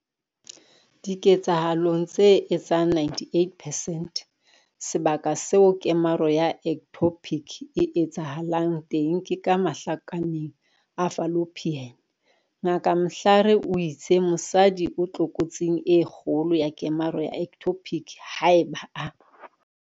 Diketsahalong tse etsang 98 percent sebaka seo kemaro ya ectopic e etsahalang teng ke ka mahlakaneng a fallopian. Ngaka Mhlari o itse mosadi o tlokotsing e kgolo ya kemaro ya ectopic haeba a.